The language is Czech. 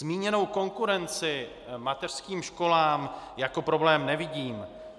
Zmíněnou konkurenci mateřským školám jako problém nevidím.